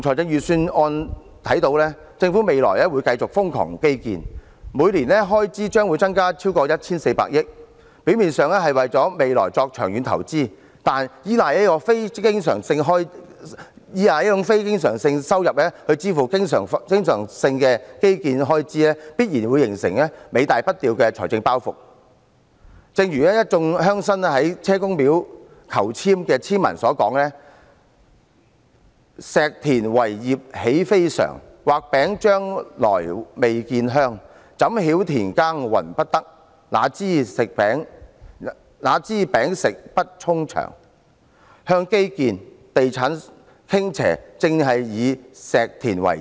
從預算案可見，政府未來會繼續瘋狂進行基建，每年的開支將增加 1,400 億元以上，表面上是為未來作長遠投資，但卻依賴以非經常收入支付經常的基建開支，最終必然會形成尾大不掉的財政包袱。正如一眾鄉紳在車公廟求籤所得的籤文所說："石田為業喜非常，畫餅將來未見香；怎曉田耕耘不得，那知餅食不充腸"。向基建和地產傾斜，正是以"石田為業"。